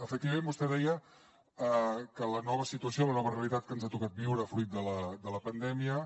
efectivament vostè deia que la nova situació la nova realitat que ens ha tocat viure fruit de la pandèmia